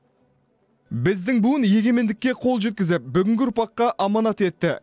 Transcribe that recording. біздің буын егемендікке қол жеткізіп бүгінгі ұрпаққа аманат етті